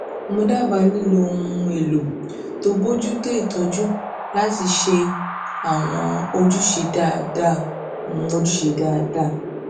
mo dábàá lílo ohun um èlò tó n bojútó ìtọjú láti lè ṣètò àwọn um ojúṣe dáadáa um ojúṣe dáadáa